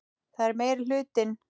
Það er meiri hitinn!